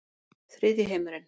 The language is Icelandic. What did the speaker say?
Þriðji heimurinn